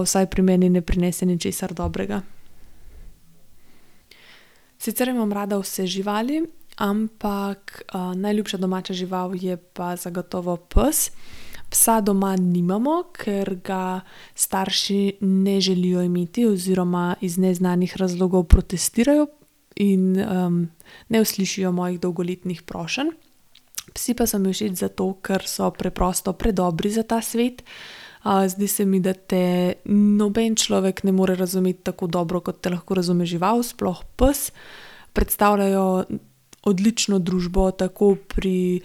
vsaj pri meni ne prinese ničesar dobrega. Sicer imam rada vse živali, ampak, najljubša domača žival je pa zagotovo pes. Psa doma nimamo, ker ga starši ne želijo imeti oziroma iz neznanih razlogov protestirajo in, ne uslišijo mojih dolgoletnih prošenj. Psi pa so mi všeč zato, ker so preprosto predobri za ta svet. zdi se mi, da te noben človek ne more razumeti tako dobro, kot te lahko razume žival, sploh pes. Predstavljajo odlično družbo, tako pri,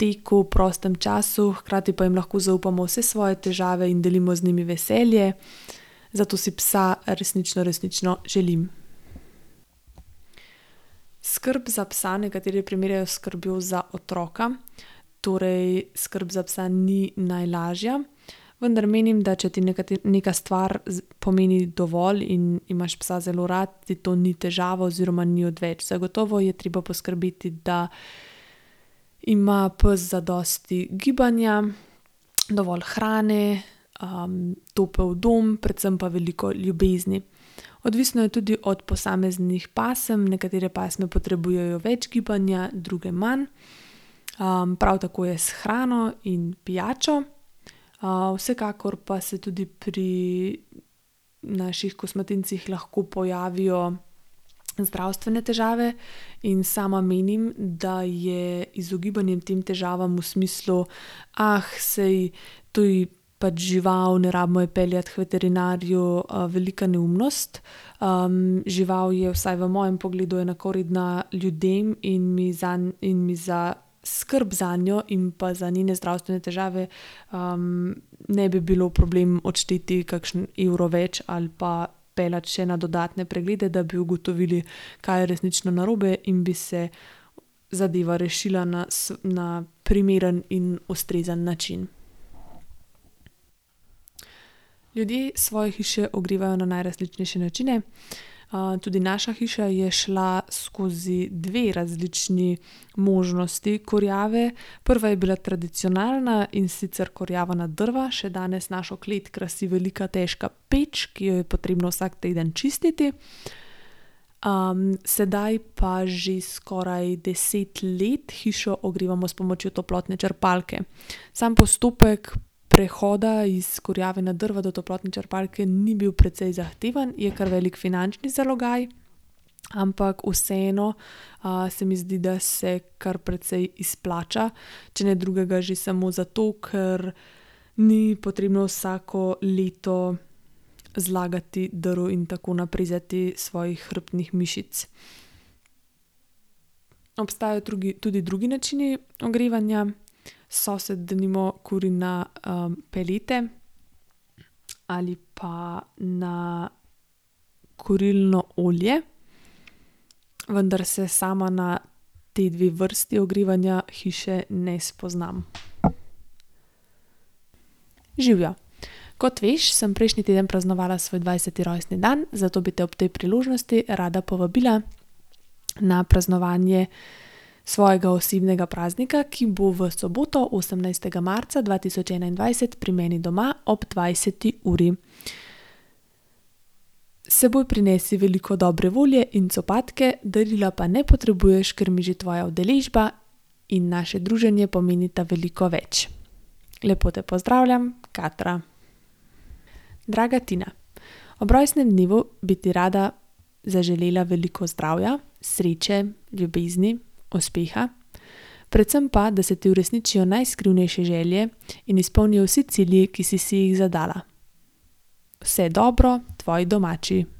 teku, prostem času, hkrati pa jim lahko zaupamo vse svoje težave in delimo z njimi veselje, zato si psa resnično resnično želim. Skrb za psa nekateri primerjajo s skrbjo za otroka, torej skrb za psa ni najlažja, vendar menim, da če ti neka stvar pomeni dovolj in imaš psa zelo rad, ti to ni težava oziroma ni odveč, zagotovo je treba poskrbeti, da ima pes zadosti gibanja, dovolj hrane, topel dom, predvsem pa veliko ljubezni. Odvisno je tudi od posameznih pasem, nekatere pasme potrebujejo več gibanja, druge manj, prav tako je s hrano in pijačo. vsekakor pa se tudi pri naših kosmatincih lahko pojavijo zdravstvene težave in sama menim, da je izogibanje tem težavam v smislu: saj to je pač žival, ne rabimo je peljati h veterinarju," velika neumnost, žival je vsaj v mojem pogledu enakovredna ljudem in mi zanj in mi za skrb zanjo in pa za njene zdravstvene težave, ne bi bilo problem odšteti kakšen evro več ali pa peljati še na dodatne preglede, da bi ugotovili, kaj je resnično narobe, in bi se zadeva rešila na na primeren in ustrezen način. Ljudje svoje hiše ogrevajo na najrazličnejše načine, tudi naša hiša je šla skozi dve različni možnosti kurjave. Prva je bila tradicionalna, in sicer kurjava na drva, še danes našo klet krasi velika težka peč, ki jo je potrebno vsak teden čistiti. sedaj pa že skoraj deset let hišo ogrevamo s pomočjo toplotne črpalke. Sam postopek prehoda iz kurjave na drva do toplotne črpalke ni bil precej zahteven, je kar veliko finančni zalogaj, ampak vseeno, se mi zdi, da se kar precej izplača, če ne drugega že samo zato, ker ni potrebno vsako leto zlagati drv in tako naprezati svojih hrbtnih mišic. Obstajajo drugi, tudi drugi načini ogrevanja. Sosed denimo kuri na, pelete ali pa na kurilno olje, vendar se sama na ti dve vrsti ogrevanja hiše ne spoznam. Živjo, kot veš, sem prejšnji teden praznovala svoj dvajseti rojstni dan, zato bi te ob tej priložnosti rada povabila na praznovanje svojega osebnega praznika, ki bo v soboto, osemnajstega marca dva tisoč enaindvajset, pri meni doma ob dvajseti uri. S seboj prinesi veliko dobre volje in copatke, darila pa ne potrebuješ, ker mi že tvoja udeležba in naše druženje pomenita veliko več. Lepo te pozdravljam, Katra. Draga Tina, ob rojstnem dnevu bi ti rada zaželela veliko zdravja, sreče, ljubezni, uspeha, predvsem pa, da se ti uresničijo najskrivnejše želje in izpolnijo vsi cilji, ki si si jih zadala. Vse dobro, tvoji domači.